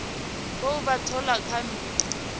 khou vha thola kha mmbi